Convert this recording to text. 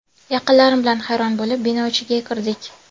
Yaqinlarim bilan hayron bo‘lib, bino ichiga kirdik.